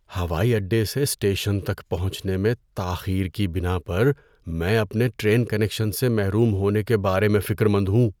‏ہوائی اڈے سے اسٹیشن تک پہنچنے میں تاخیر کی بنا پر میں اپنے ٹرین کنکشن سے محروم ہونے کے بارے میں فکرمند ہوں.